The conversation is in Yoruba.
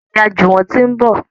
Ìyá Juwon tí ń bọ.